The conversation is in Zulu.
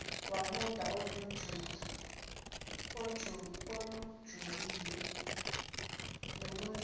wudaba olujulile nolungeke